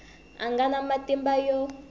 a nga na matimba yo